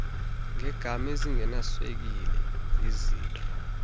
ngeegam ezingenaswekile izitro